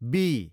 be